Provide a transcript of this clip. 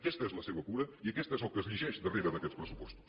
aquesta és la seva cura i aquest és el que es llegeix darrere d’aquests pressupostos